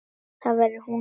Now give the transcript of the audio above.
Þar verði hún óhult.